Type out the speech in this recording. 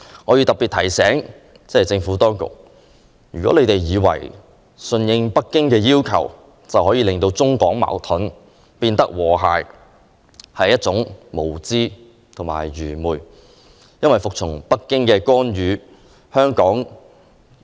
我要特別提醒政府，不要以為順應北京要求便可令中港關係由矛盾變成和諧，這是愚昧無知的想法。